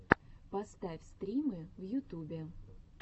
поставь стримы в ютубе